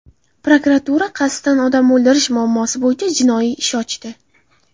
Prokuratura qasddan odam o‘ldirish moddasi bo‘yicha jinoiy ish ochdi .